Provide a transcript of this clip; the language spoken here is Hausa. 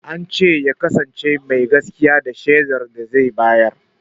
Ance ya kasance mai gaskiya a shaidar da zai bayar